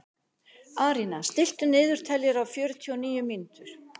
Arína, stilltu niðurteljara á fjörutíu og níu mínútur.